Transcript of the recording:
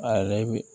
A yɛrɛ be